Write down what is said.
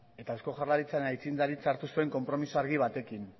eta eusko jaurlaritzaren zuzendaritza hartu zuen konpromiso argi batekin